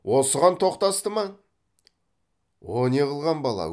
осыған тоқтасты ма о не қылған бала